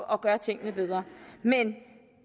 at gøre tingene bedre men